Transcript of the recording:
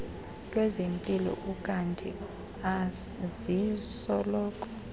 lwezempilo ukanti azisoloko